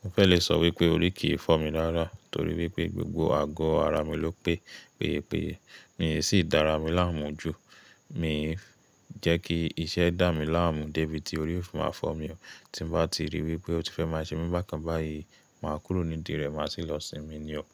Mo fẹ́ le sọ wípé orí kì í fọ́ mi rárá torí wípé gbogbo ago ara mi ló pé, péye péye. Mi sì dára mi láàmú jù, mi ń jẹ́ kí iṣẹ́ dá mi láàmú débi tí orí o fe máa fọ́ mi o. Tí n bá ti ríi wípé o ti fẹ́ máa ṣe mi bákan báyìí, màá kúrò nídìrẹ, máa sì lọ sinmi ni o.